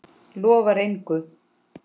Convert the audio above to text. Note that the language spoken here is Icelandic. Lofar engu.